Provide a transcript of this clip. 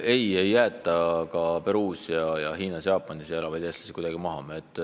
Ei, ei jäeta ka Peruus, Hiinas või Jaapanis elavaid eestlasi kuidagi maha.